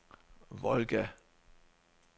Volga